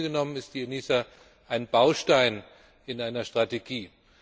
Im Grunde genommen ist die ENISA ein Baustein in einer Strategie.